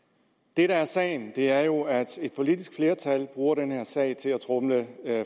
det der er sagen er jo at et politisk flertal bruger den her sag til at tromle